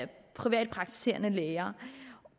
de privatpraktiserende læger